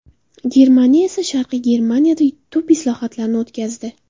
Germaniya esa sharqiy Germaniyada tub islohotlarni o‘tkazdi.